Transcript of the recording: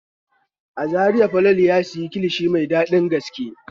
A Zariya Falalu ya ci kilishi mai dadin gaske.